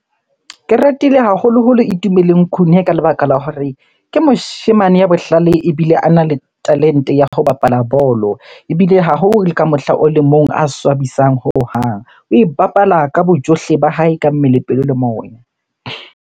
Ke ratile haholoholo e Itumeleng Khune ka lebaka la hore ke moshemane ya bohlale ebile ana le talente ya ho bapala bolo. Ebile ha ho le ka mohla o le mong a swabisang hohang. Oe bapala ka bojohle ba hae, ka mmele, pelo le moya.